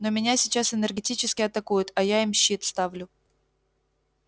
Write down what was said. но меня сейчас энергетически атакуют а я им щит ставлю